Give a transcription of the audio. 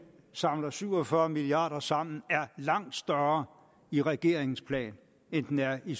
samler syv og fyrre milliard kroner sammen er langt større i regeringens plan end den er i